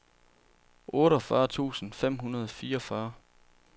otteogfyrre tusind fem hundrede og fireogfyrre